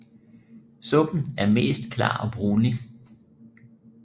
Suppen er mest klar og brunlig